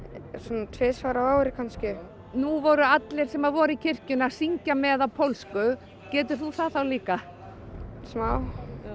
svona tvisvar á ári kannski nú voru allir sem voru í kirkjunni að syngja með á pólsku getur þú það þá líka smá